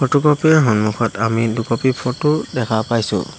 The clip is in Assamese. ফটোক'পি ৰ সন্মুখত আমি দুক'পি ফটো দেখা পাইছোঁ।